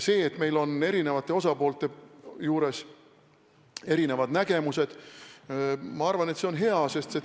See, et meil on eri osapooltel erinevad nägemused, on minu arvates hea.